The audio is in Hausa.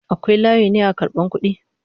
Akwai layi ne na karban kudi??